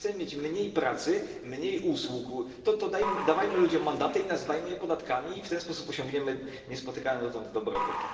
Jeśli chcemy mieć mniej pracy, mniej usług, to dawajmy ludziom mandaty i nazywajmy je podatkami i w ten sposób osiągniemy niespotykany dotąd dobrobyt.